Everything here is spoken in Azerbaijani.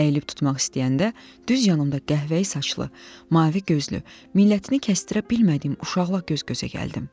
Əyilib tutmaq istəyəndə düz yanımda qəhvəyi saçlı, mavi gözlü, millətini kəsdirmədiyim uşaqla göz-gözə gəldim.